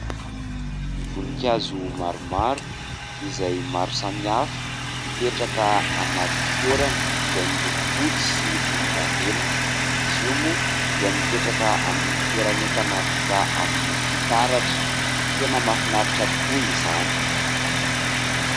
Voninkazo maromaro izay maro samihafa, mipetraka anaty fitoerany izay miloko fotsy sy volondavenona. Izy io moa dia mipetraka amin'ny fitoeran'entana vita amin'ny fitaratra. Tena mahafinaritra tokoa izany !